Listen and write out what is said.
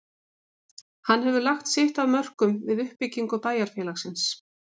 Hann hefur lagt sitt af mörkum við uppbyggingu bæjar- félagsins.